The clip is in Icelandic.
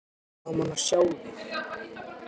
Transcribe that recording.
Gaman að sjá þig.